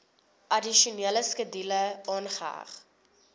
addisionele skedule aangeheg